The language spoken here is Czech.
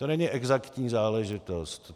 To není exaktní záležitost.